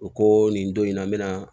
U ko nin don in na n be na